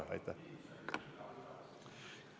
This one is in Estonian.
See mõju on väga-väga suur.